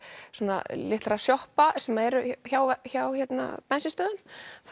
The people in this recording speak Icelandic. svona lítilla sjoppa sem eru hjá hjá bensín stöðvum